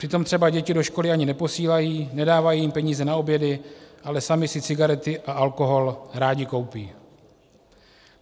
Přitom třeba děti do školy ani neposílají, nedávají jim peníze na obědy, ale sami si cigarety a alkohol rádi koupí.